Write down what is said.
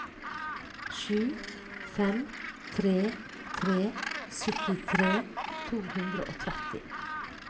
sju fem tre tre syttitre to hundre og tretti